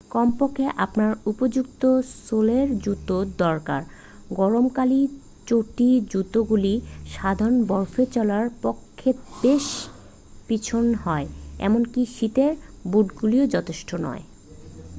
কমপক্ষে আপনার উপযুক্ত সোলের জুতো দরকার গরমকালীন চটি-জুতোগুলি সাধারণত বরফে চলার পক্ষে বেশ পিছল হয় এমনকি শীতের বুটগুলিও যথেষ্ট নয়